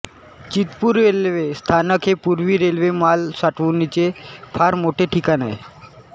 Chitpur railway स्थानक हे पूर्वी रेल्वे माल साठवणुकीचे फार मोठे ठिकाण होते